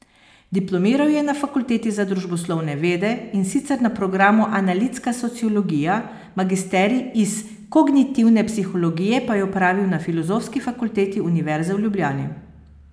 Diplomiral je na Fakulteti za družboslovne vede, in sicer na programu analitska sociologija, magisterij iz kognitivne psihologije pa je opravil na Filozofski fakulteti Univerze v Ljubljani.